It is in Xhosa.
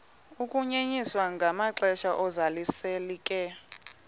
ukunyenyiswa kwamaxesha ozalisekiso